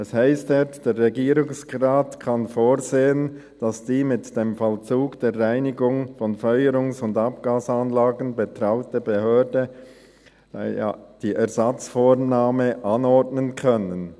Es heisst dort: Der Regierungsrat «kann vorsehen, dass die mit dem Vollzug der Reinigung von Feuerungs- und Abgasanlagen betrauten Behörden die Ersatzvornahme anordnen können».